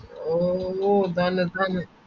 ഓ താനെ താനെ